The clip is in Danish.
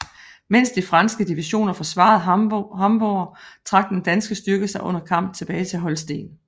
Mens de franske divisioner forsvarede Hamburg trak den danske styrke sig under kamp tilbage til Holsten